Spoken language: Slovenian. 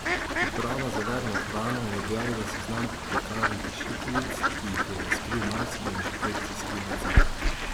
Uprava za varno hrano je objavila seznam pekarn kršiteljic, ki jih je razkril majski inšpekcijski nadzor.